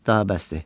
Daha bəsdir!